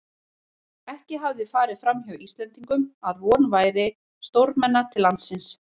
Ekki hafði farið framhjá Íslendingum, að von væri stórmenna til landsins.